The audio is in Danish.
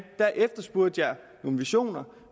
efterspurgte jeg nogle visioner